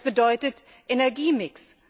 Das bedeutet Energiemix.